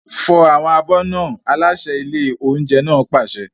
Fọ àwọn abọ́ náà! Aláṣẹ ilé oúnjẹ náà pàṣẹ.